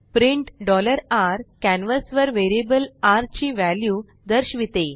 print r canvas वर variable र ची वॅल्यू दर्शविते